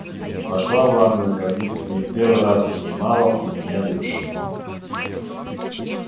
и пошла в ванную как будто не в первый раз принимала у меня душ